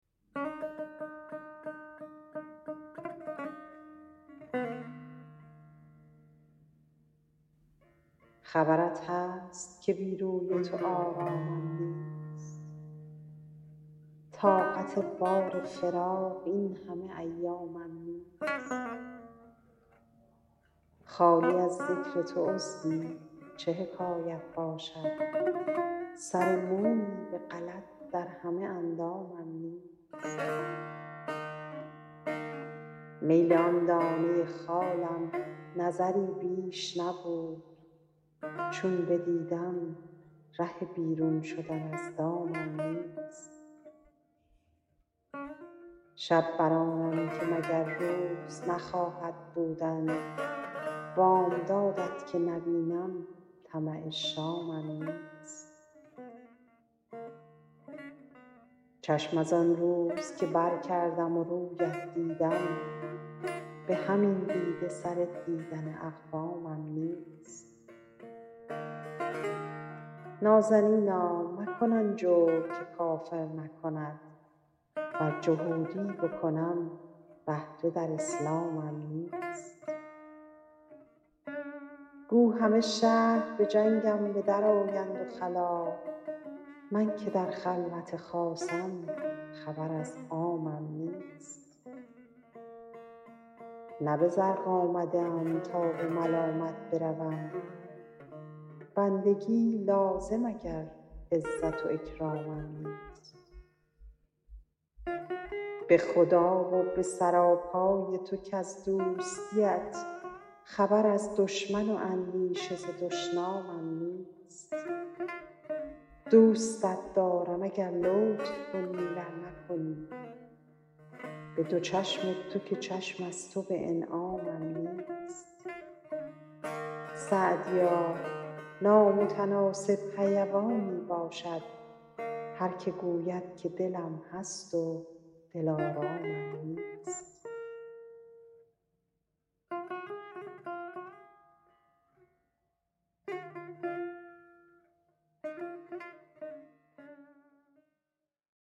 خبرت هست که بی روی تو آرامم نیست طاقت بار فراق این همه ایامم نیست خالی از ذکر تو عضوی چه حکایت باشد سر مویی به غلط در همه اندامم نیست میل آن دانه خالم نظری بیش نبود چون بدیدم ره بیرون شدن از دامم نیست شب بر آنم که مگر روز نخواهد بودن بامداد ت که نبینم طمع شامم نیست چشم از آن روز که برکردم و روی ات دیدم به همین دیده سر دیدن اقوامم نیست نازنینا مکن آن جور که کافر نکند ور جهودی بکنم بهره در اسلامم نیست گو همه شهر به جنگم به درآیند و خلاف من که در خلوت خاصم خبر از عامم نیست نه به زرق آمده ام تا به ملامت بروم بندگی لازم اگر عزت و اکرامم نیست به خدا و به سراپای تو کز دوستی ات خبر از دشمن و اندیشه ز دشنامم نیست دوستت دارم اگر لطف کنی ور نکنی به دو چشم تو که چشم از تو به انعامم نیست سعدیا نامتناسب حیوانی باشد هر که گوید که دلم هست و دلآرامم نیست